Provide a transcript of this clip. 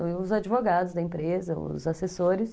Os advogados da empresa, os assessores.